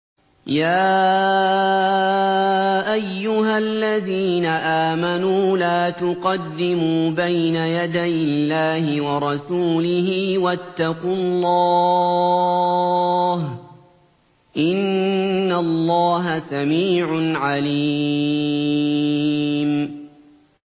يَا أَيُّهَا الَّذِينَ آمَنُوا لَا تُقَدِّمُوا بَيْنَ يَدَيِ اللَّهِ وَرَسُولِهِ ۖ وَاتَّقُوا اللَّهَ ۚ إِنَّ اللَّهَ سَمِيعٌ عَلِيمٌ